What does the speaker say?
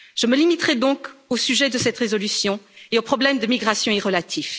Je me limiterai donc au sujet de cette résolution et aux problèmes de migrations y relatifs.